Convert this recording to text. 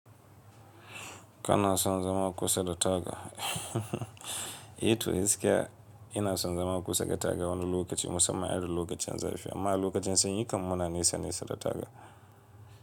Kana son zama kusa da taga, eh to gaskiya ina son zama kusa da taga wani lokaci mussamman irin lokacin zafi, amma a lokacin sanyi kam muna nesa nesa da taga.